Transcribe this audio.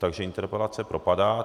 Takže interpelace propadá.